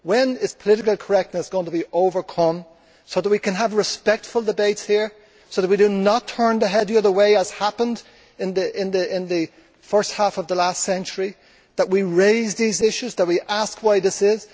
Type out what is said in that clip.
When is political correctness going to be overcome, so that we can have respectful debates here, so that we do not turn our heads the other way, as happened in the first half of the last century, so that we raise these issues, so that we ask why this is?